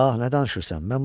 Ah, nə danışırsan?